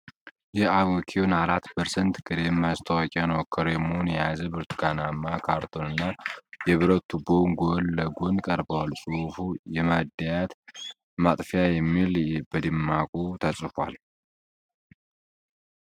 የአቮኩዊን 4% ክሬም ማስታወቂያ ነው። ክሬሙን የያዘው ብርቱካናማ ካርቶንና የብረት ቱቦው ጎን ለጎን ቀርበዋል። ጽሑፉ የማድያት ማጥፊያ የሚል በደማቁ ተጽፏል።